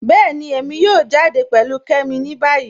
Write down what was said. Bẹẹ̀ni, èmi yóò jáde pẹ̀lú Kẹ́mi ni bayí.